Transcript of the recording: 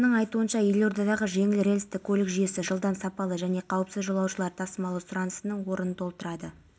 облысы ішкі істер департаментінің ордабасы аудандық ішкі істер бөлімінің бастығы саховты дәрежелі айбын орденімен астана